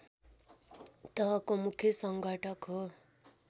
तहको मुख्य सङ्घटक हो